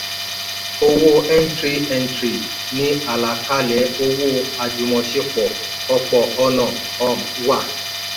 owó n three n three ni àlàkalẹ̀ owó àjùmọ̀ṣepọ̀ òpọ̀ ọ̀nà um wà.